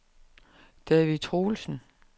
David Troelsen